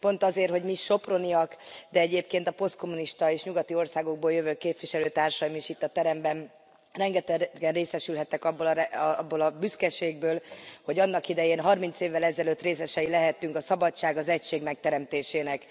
Pont azért, hogy mi, soproniak, de egyébként a posztkommunista és nyugati országokból jövő képviselőtársaim is itt a teremben rengetegen részesülhettek abból a büszkeségből, hogy annak idején, 30 évvel ezelőtt részesei lehettünk a szabadság, az egység megteremtésének.